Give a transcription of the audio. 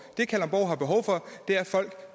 det kalundborg har behov for er at folk